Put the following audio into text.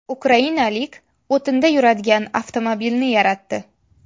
Ukrainalik o‘tinda yuradigan avtomobilni yaratdi .